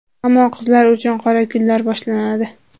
Ammo qizlar uchun qora kunlar boshlanadi.